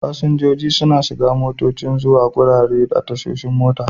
Fasinjojin suna shiga motocin zuwa garuruwa a tashoshin mota.